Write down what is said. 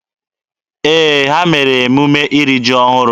Ee, ha mere emume iri ji ọhụrụ.